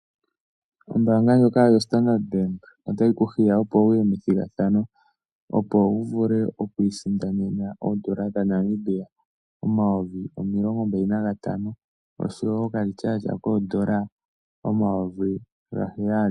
Ombaanga ndjoka yo Standard Bank otayi kuhiya opo wuye methigathano, opo wu vule okwii sindanena oodola dha Namibia omayovi omilongo mbali na gatano osho woo okalityatya koodola omayovi ga heyali.